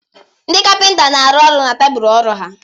Ndị kapịnta na-arụ ọrụ n'tebụl ọrụ ha.